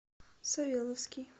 савеловский